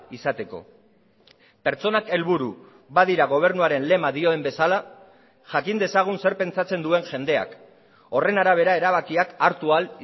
izateko pertsonak helburu badira gobernuaren lema dioen bezala jakin dezagun zer pentsatzen duen jendeak horren arabera erabakiak hartu ahal